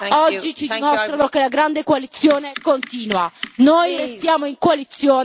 I hate to say this, but your last words were wasted and, with respect, I did give you extra time.